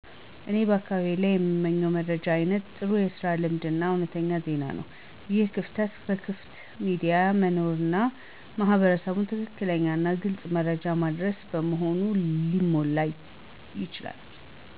እኔ በአካባቢዬ ላይ የምመኝው መረጃ አይነት ጥሩ የስራ እድል እና እውነተኛ ዜና ነው። ይህን ክፍተት በክፍት ሚዲያ መኖርና ማህበረሰቡን ትክክለኛና ግልጽ መረጃ ማድረስ በመሆኑ ሊሞላ ይችላል።